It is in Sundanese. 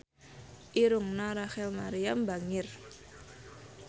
Irungna Rachel Maryam bangir